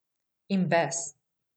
In bes.